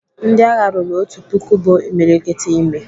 Ndịagha ruru otu puku bụ imiriikiti imi.